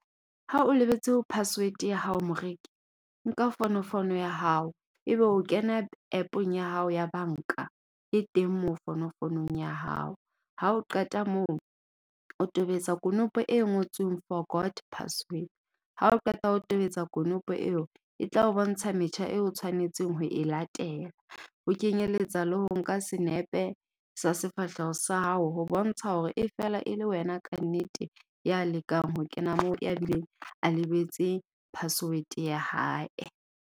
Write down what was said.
Ha o lebetse ho password ya hao moreki. Nka fonofono ya hao ebe o kena App-ong ya hao ya banka e teng moo fonofonng ya hao. Ha o qeta moo o tobetsa konopo e ngotsweng forgot password. Ha o qeta ho tobetsa konopo eo e tla o bontsha metjha eo o tshwanetseng ho e latela ho kenyeletsa le ho nka senepe sa sefahleho sa hao. Ho bontsha hore e fela e le wena kannete, ya lekang ho kena moo ya bileng a lebetse -password ya hae.